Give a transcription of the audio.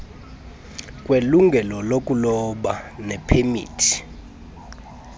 kwelungelo lokuloba nepemithi